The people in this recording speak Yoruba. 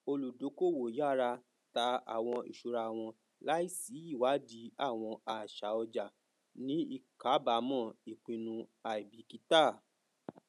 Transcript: olùdókòwò yara tà àwọn ìsúra wọn láìsí ìwádìí àwọn àṣà ọjà ní ìkáàbámọ ipinnu àìbíkítà